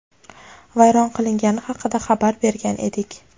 vayron qilingani haqida xabar bergan edik.